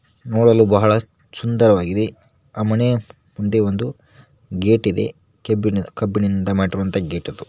ನೋಡಲು ಬಹಳ ಸುಂದರವಾಗಿದೆ ಆ ಮನೆ ಮುಂದೆ ಒಂದು ಗೇಟ್ ಇದೆ ಕಬ್ಬಿಣದ ಕಬ್ಬಿಣದಿಂದ ಮಾಡಿರುವಂತ ಗೇಟ್ ಅದು.